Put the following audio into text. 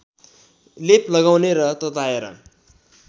लेप लगाउने र तताएर